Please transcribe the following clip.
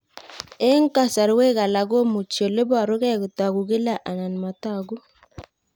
Eng' kasarwek alak komuchi ole parukei kotag'u kila anan matag'u